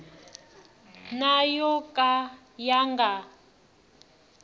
na yo ka ya nga